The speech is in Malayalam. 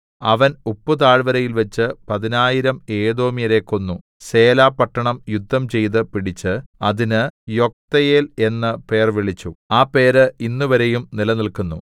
അവൻ ഉപ്പുതാഴ്വരയിൽവച്ച് പതിനായിരം ഏദോമ്യരെ കൊന്നു സേല പട്ടണം യുദ്ധം ചെയ്ത് പിടിച്ച് അതിന് യൊക്തെയേൽ എന്ന് പേർവിളിച്ചു ആ പേര് ഇന്നുവരെയും നിലനിൽക്കുന്നു